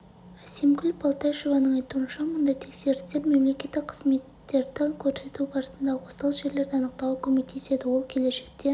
әсемгүл балташеваның айтуынша мұндай тексерістер мемлекеттік қызметтерді көрсету барысындағы осал жерлерді анықтауға көмектеседі ол келешекте